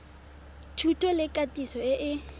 thuto le katiso e e